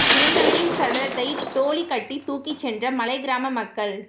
இறந்தவரின் சடலத்தை டோலி கட்டி தூக்கிச் சென்ற மலைக் கிராம மக்கள்